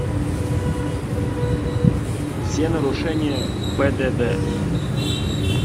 все нарушения пдд